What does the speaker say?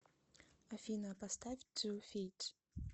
афина поставь ту фит